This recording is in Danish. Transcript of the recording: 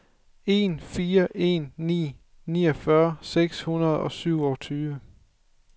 en fire en ni niogfyrre seks hundrede og syvogtyve